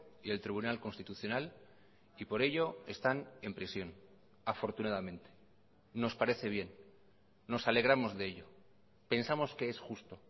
y el tribunal constitucional y por ello están en prisión afortunadamente nos parece bien nos alegramos de ello pensamos que es justo